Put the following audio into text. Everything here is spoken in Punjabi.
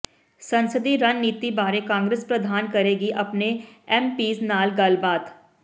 ਸੰਸਦੀ ਰਣਨੀਤੀ ਬਾਰੇ ਕਾਂਗਰਸ ਪ੍ਰਧਾਨ ਕਰੇਗੀ ਆਪਣੇ ਐਮਪੀਜ਼ ਨਾਲ ਗੱਲਬਾਤ